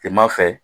Kilema fɛ